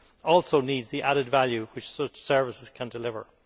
also need the added value which such services can deliver.